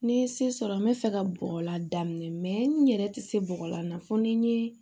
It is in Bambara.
Ni n ye se sɔrɔ n bɛ fɛ ka bɔgɔlan daminɛ n yɛrɛ tɛ se bɔgɔla na fo ni n ye